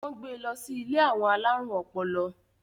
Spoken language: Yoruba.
wón gbé ló sì ilé àwọn alarun ọpọlọ